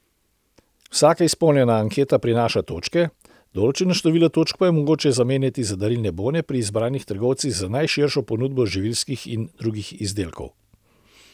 Vsaka izpolnjena anketa prinaša točke, določeno število točk pa je mogoče zamenjati za darilne bone pri izbranih trgovcih z najširšo ponudbo živilskih in drugih izdelkov.